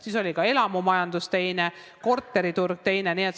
Siis oli ka elamumajandus teine, korteriturg teine.